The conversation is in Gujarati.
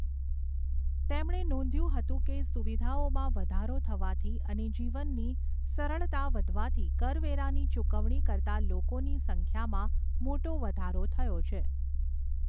તેમણે નોંધ્યું હતું કે, સુવિધાઓમાં વધારો થવાથી અને જીવનની સરળતા વધવાથી કરવેરાની ચુકવણી કરતાં લોકોની સંખ્યામાં મોટો વધારો થયો છે.